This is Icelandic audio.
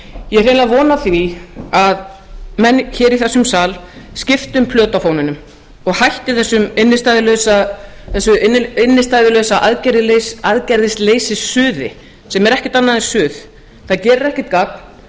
ég á hreinlega von á því að menn hér í þessum sal skipti um plötu á fóninum og hætti þessu innstæðulausu aðgerðaleysissuði sem er ekkert annað en suð það gerir ekkert gagn